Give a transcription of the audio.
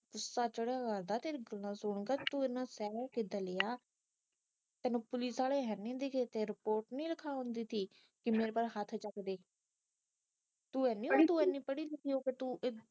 ਤੈਨੂੰ ਇਹਨਾਂ ਬੋਲਦਾ ਤੂੰ ਇਹਨਾ ਸਹਿ ਕਿਦਾ ਲਿਆ ਤੈਨੂੰ ਪੁਲਿਸ ਆਲੇ ਹੈਨੀ ਦਿਖੇ ਤੇਰੇ ਕੋ ਰਿਪੋਰਟ ਨਹੀਂ ਲਿਖਾ ਹੁੰਦੀ ਥੀ ਕਿ ਮੇਰੇ ਪਰ ਹੱਥ ਚੱਕਦੇ ਤੂੰ ਇੰਨੀ ਪੜ੍ਹੀ ਲਿਖੀ ਹੋ ਕੇ ਤੂੰ